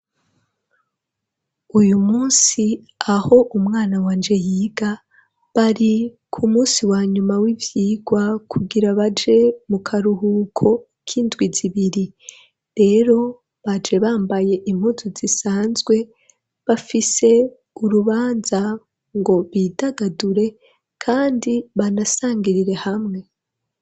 Uyu munsi aho umwana wanje yiga ,bari ku munsi wa nyuma w'ivyigwa, kugira baje mu karuhuko k'indwi zibiri ,rero baje bambaye impuzu zisanzwe, bafise urubanza ngo bidagadure kandi banasangirire hamwe.